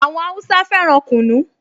Àwọn Háúsá fẹ́ràn kunu